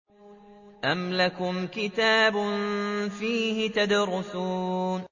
أَمْ لَكُمْ كِتَابٌ فِيهِ تَدْرُسُونَ